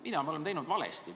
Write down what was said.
Mida me oleme teinud valesti?